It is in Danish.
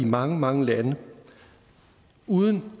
mange mange lande uden